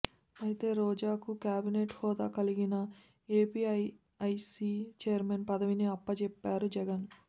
అయితే రోజాకు కేబినెట్ హోదా కలిగిన ఏపీఐఐసీ చైర్మన్ పదవిని అప్పచెప్పారు జగన్